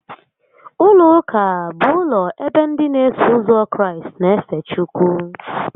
Ụlọ ụka bụ ụlọ ebe ndị n'eso ụzọ Kraịst n'efe Chukwu